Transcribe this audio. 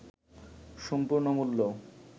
সম্পূর্ণ মূল্য